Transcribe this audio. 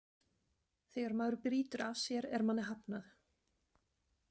Þegar maður brýtur af sér er manni hafnað.